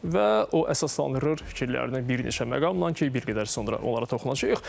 Və o əsaslandırır fikirlərini bir neçə məqamla ki, bir qədər sonra onlara toxunacağıq.